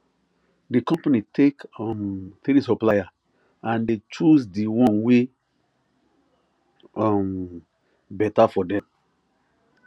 the company take um three supplier and they choose the one wey um better for them